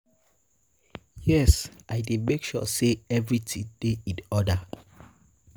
Yes, I dey make sure say everything dey in order.